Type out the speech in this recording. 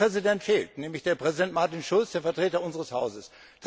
Ein Präsident fehlt, nämlich der Präsident Martin Schulz, der Vertreter unseres Hauses.